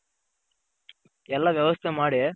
ಎಲ್ಲ ವ್ಯವಸ್ಥೆ ಮಾಡಿ